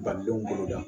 Badenw boloda